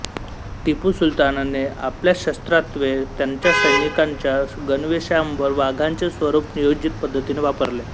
टीपू सुलतानने आपल्या शस्त्रास्त्रे त्यांच्या सैनिकांच्या गणवेशावर वाघांचे स्वरुप नियोजित पद्धतीने वापरले